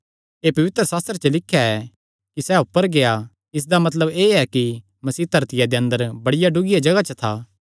एह़ पवित्रशास्त्रे च लिख्या ऐ कि सैह़ ऊपर गेआ इसदा मतलब एह़ कि मसीह धरतिया दे अंदर बड़िया डुगिया जगाह च था